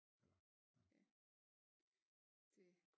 Det